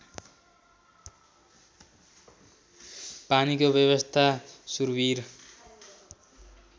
पानीको व्यवस्था सुरविर